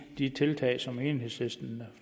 de tiltag som enhedslisten